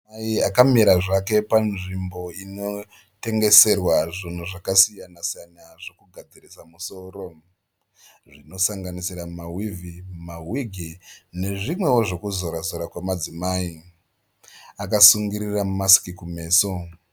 Mudzimai akamira zvake panzvimbo inotengeserwa zvinhu zvakasiyana siyana zvokugadzirisa musoro. Zvinosanganisira ma whivhi, mawigi nezvimweo zvekuzora zora kwamadzimai. Akasungirira maski kumeso.